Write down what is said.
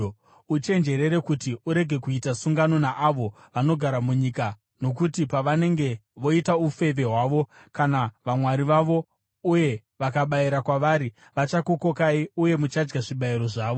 “Uchenjerere kuti urege kuita sungano naavo vanogara munyika; nokuti pavanenge voita ufeve hwavo kuna vamwari vavo uye vakabayira kwavari, vachakukokai uye muchadya zvibayiro zvavo.